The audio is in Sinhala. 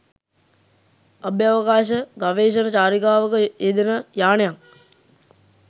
අභ්‍යාවකාශ ගවේෂණ චාරිකාවක යෙදෙන යානයක්